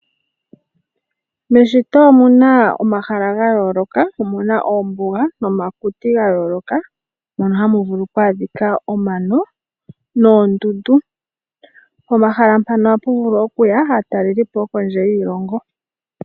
Meshito omu na omahala ga yooloka. Omu na oombuga nomakuti ga yooloka mono hamu vulu oku adhika omano noondundu. Pomahala mpano ohapu vulu okuya aatalelipo yokondje yiilongo.